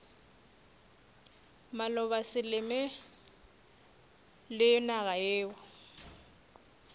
maloba selemo le naga yeo